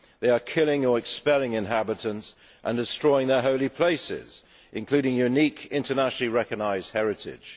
they are killing or expelling inhabitants and destroying their holy places, including unique internationally-recognised heritage.